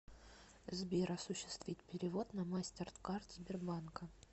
сбер осуществить перевод на мастеркард сбербанка